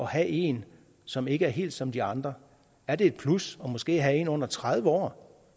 have en som ikke er helt som de andre er det et plus måske at have en under tredive år